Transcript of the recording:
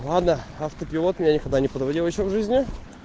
лада автопилот меня никогда не подводил ещё в жизни